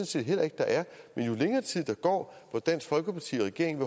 set heller ikke der er men jo længere tid der går hvor dansk folkeparti og regeringen